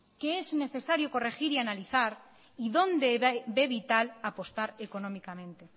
qué es necesario corregir y analizar y dónde ve vital apostar económicamente